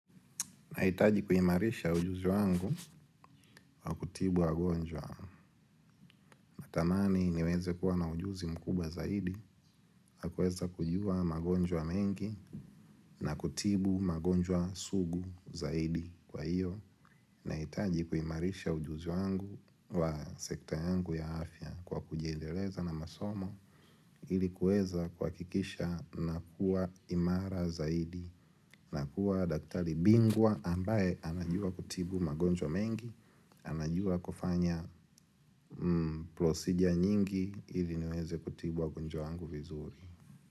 Nahitaji kuimarisha ujuzi wangu kutibu wagonjwa. Natamani niweze kuwa na ujuzi mkubwa zaidi. Ya kuweza kujua magonjwa mengi na kutibu magonjwa suguu zaidi. Nahitaji kuimarisha ujuzi wangu wa sekta yangu ya afya kwa kujiendeleza na masomo. Ili kuweza kuhakikisha nakuwa imara zaidi. Na kuwa daktari bingwa ambaye anajua kutibu magonjwa mengi. Anajua kufanya prosigia nyingi ili niweze kutibu wagonjwa wangu vizuri.